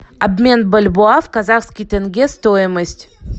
обмен бальбоа в казахский тенге стоимость